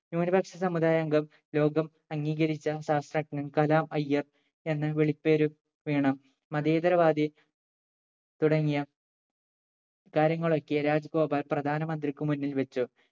ന്യൂനപക്ഷ സമുദായ അംഗം ലോകം അംഗീകരിച്ച ശാസ്ത്രജ്ഞൻ കലാം അയ്യർ എന്ന വിളിപ്പേരും വേണം മതേതര വാദി തുടങ്ങിയ കാര്യങ്ങളൊക്കെ രാജഗോപാൽ പ്രധാനമന്ത്രിക്ക് മുന്നിൽ വെച്ചു